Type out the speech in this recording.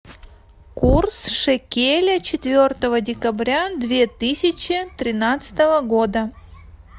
курс шекеля четвертого декабря две тысячи тринадцатого года